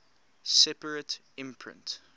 separate imprint